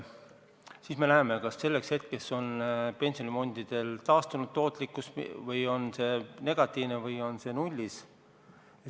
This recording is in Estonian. Siis me näeme, kas selleks hetkeks on pensionifondide tootlikkus taastunud, on see negatiivne või on see nullis.